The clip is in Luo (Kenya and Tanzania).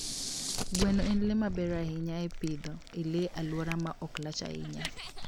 Gweno en le maber ahinya e pidho le e alwora ma ok lach ahinya.